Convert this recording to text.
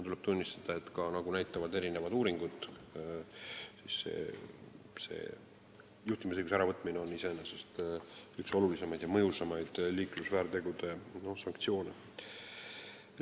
Tuleb tunnistada, et nagu näitavad uuringud, juhtimisõiguse äravõtmine iseenesest on üks olulisemaid ja mõjusamaid liiklusväärtegude sanktsioone.